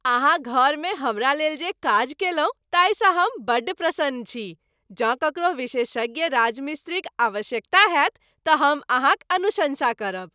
अहाँ घरमे हमरा लेल जे काज कयलहुँ ताहिसँ हम बड्ड प्रसन्न छी। जँ ककरो विशेषज्ञ राजमिस्त्रीक आवश्यकता होयत तऽ हम अहाँक अनुशंसा करब।